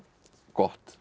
gott